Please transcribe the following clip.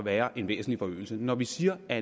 er en væsentlig forøgelse når vi siger at